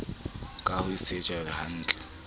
ka ho se je hnatle